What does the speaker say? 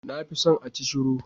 Na fi son acishiru